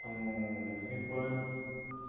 Com cinco anos.